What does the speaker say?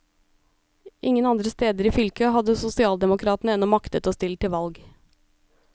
Ingen andre steder i fylket hadde sosialdemokratene ennå maktet å stille til valg.